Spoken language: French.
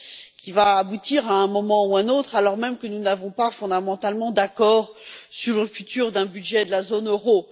qui va aboutir à un moment ou à un autre, alors même que nous n'avons pas fondamentalement d'accord sur le futur d'un budget de la zone euro.